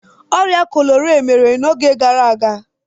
Ọrịa kọlera mere n'oge gara aga.